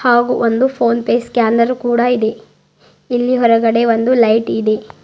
ಹಾಗೂ ಒಂದು PhonePe scanner ಕೂಡ ಇದೆ ಇಲ್ಲಿ ಹೊರಗಡೆ ಒಂದು ಲೈಟ್ ಇದೆ.